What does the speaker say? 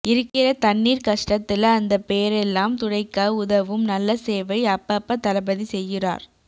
இருக்கிற தண்ணீர் கஷ்டத்துல அந்த பேரெல்லாம் துடைக்க உதவும் நல்ல சேவை அப்ப அப்ப தளபதி செய்யுறார்